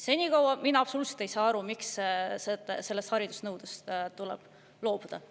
Senikaua ei saa mina üldse aru, miks tuleb sellest haridusnõudest loobuda.